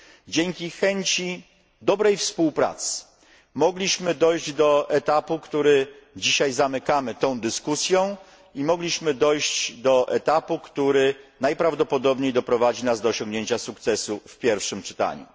dzięki chęci dobrej współpracy, mogliśmy dojść do etapu, który dzisiaj zamykamy tą dyskusją i mogliśmy dojść do etapu, który najprawdopodobniej doprowadzi nas do osiągnięcia sukcesu w pierwszym czytaniu.